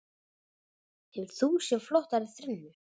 Hefur þú séð flottari þrennu?